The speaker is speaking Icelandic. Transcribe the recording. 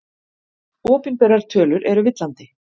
Opinberar tölur eru villandi